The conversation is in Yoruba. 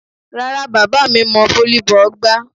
Rárá, bàbá mi mọ volleyball gbá.